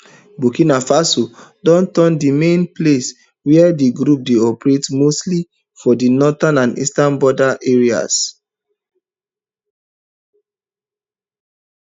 burkina faso don turn di main place wia di group dey operate mostly for di northern and eastern border areas